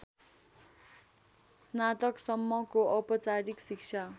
स्नातकसम्मको औपचारिक शिक्षा